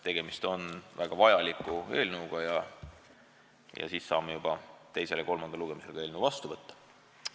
Tegemist on väga vajaliku eelnõuga, mille me ehk saame pärast teist ja kolmandat lugemist ka seadusena vastu võtta.